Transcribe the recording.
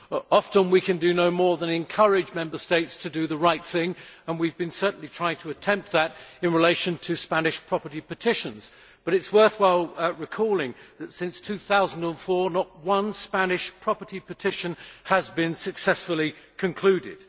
Often we can do no more than encourage Member States to do the right thing, and we have certainly been trying to do that in relation to Spanish property petitions but it is worthwhile recalling that since 2004 not one Spanish property petition has been successfully concluded.